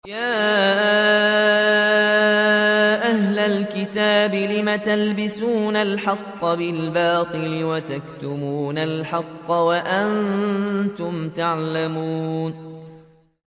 يَا أَهْلَ الْكِتَابِ لِمَ تَلْبِسُونَ الْحَقَّ بِالْبَاطِلِ وَتَكْتُمُونَ الْحَقَّ وَأَنتُمْ تَعْلَمُونَ